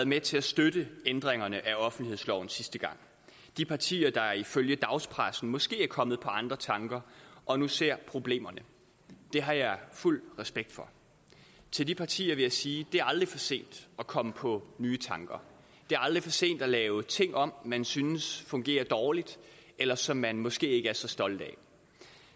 med til at støtte ændringerne af offentlighedsloven sidste gang de partier der ifølge dagspressen måske er kommet på andre tanker og nu ser problemerne det har jeg fuld respekt for til de partier vil jeg sige det er aldrig for sent at komme på nye tanker det er aldrig for sent at lave ting om man synes fungerer dårligt eller som man måske ikke er så stolt